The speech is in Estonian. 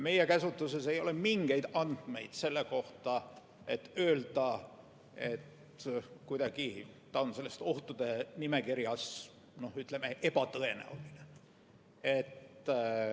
Meie käsutuses ei ole mingeid andmeid selle kohta, et võiks öelda, et ta on kuidagi selles ohtude nimekirjas, ütleme, ebatõenäoline.